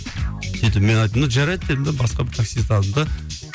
сөйтіп мен айттым да жарайды дедім де басқа бір таксист алдым да